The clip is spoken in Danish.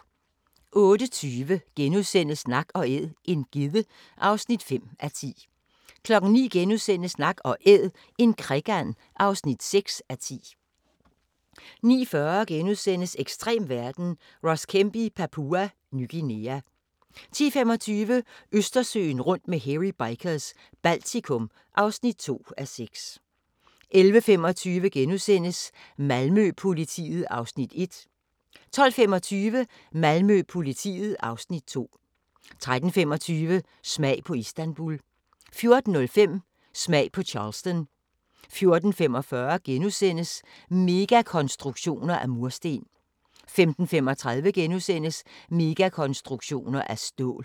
08:20: Nak & æd - en gedde (5:10)* 09:00: Nak & Æd – en krikand (6:10)* 09:40: Ekstrem verden – Ross Kemp i Papua Ny Guinea * 10:25: Østersøen rundt med Hairy Bikers – Baltikum (2:6) 11:25: Malmø-politiet (Afs. 1)* 12:25: Malmø-politiet (Afs. 2) 13:25: Smag på Istanbul 14:05: Smag på Charleston 14:45: Megakonstruktioner af mursten * 15:35: Megakonstruktioner af stål *